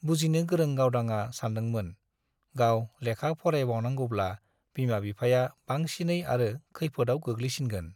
बुजिनो गोरों गावदांआ सानदोंमोन-गाव लेखा फरायबावनांगौब्ला बिमा-बिफाया बांसिनै आरो खैफोदआव गोग्लैसिनगोन।